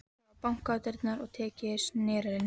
Það var bankað á dyrnar og tekið í snerilinn.